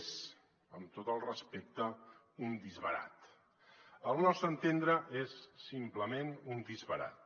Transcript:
és amb tot el respecte un disbarat al nostre entendre és simplement un disbarat